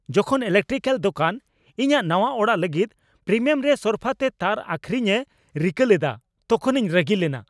ᱡᱚᱠᱷᱚᱱ ᱤᱞᱮᱠᱴᱨᱤᱠᱮᱞ ᱫᱳᱠᱟᱱ ᱤᱧᱟᱹᱜ ᱱᱟᱶᱟ ᱚᱲᱟᱜ ᱞᱟᱹᱜᱤᱫᱯᱨᱤᱢᱤᱭᱟᱢᱨᱮ ᱥᱚᱨᱯᱷᱟᱛᱮ ᱛᱟᱨ ᱟᱹᱠᱷᱨᱤᱧᱮ ᱨᱤᱠᱟᱹ ᱞᱮᱫᱟ ᱛᱚᱠᱷᱚᱱᱤᱧ ᱨᱟᱹᱜᱤ ᱞᱮᱱᱟ ᱾